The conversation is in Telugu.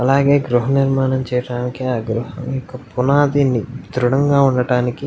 అలాగే గృహనిర్మాణం చేయటానికి ఆ గృహంకు పునాదిని దృడంగా ఉండటానికి --